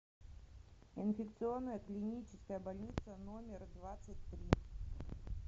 инфекционная клиническая больница номер двадцать три